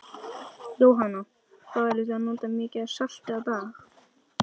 Jóhanna: Hvað eruð þið að nota mikið af salti á dag?